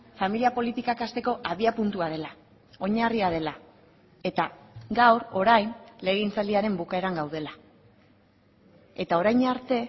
familia politikak hasteko abiapuntua dela oinarria dela eta gaur orain legegintzaldiaren bukaeran gaudela eta orain arte